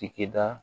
Sigida